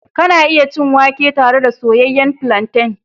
Kana iya cin wake tare da soyayyen plantain.